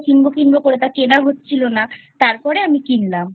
কিনবো কিনবো করে তা কেনা হচ্ছিলো না তারপরে আমি কিনলামI